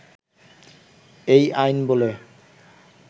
এই আইন বলে